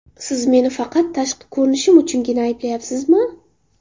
Siz meni faqat tashqi ko‘rinishim uchungina ayblayapsizmi?